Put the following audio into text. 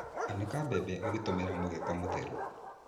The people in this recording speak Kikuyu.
Anĩka mbembe ũgĩtũmĩra mũgeka mũtheru.